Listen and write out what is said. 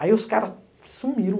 Aí os caras sumiu